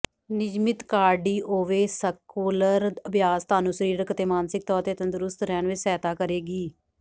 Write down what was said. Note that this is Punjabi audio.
ਨਿਯਮਤ ਕਾਰਡੀਓਵੈਸਕੁਲਰ ਅਭਿਆਸ ਤੁਹਾਨੂੰ ਸਰੀਰਕ ਅਤੇ ਮਾਨਸਿਕ ਤੌਰ ਤੇ ਤੰਦਰੁਸਤ ਰਹਿਣ ਵਿੱਚ ਸਹਾਇਤਾ ਕਰੇਗੀ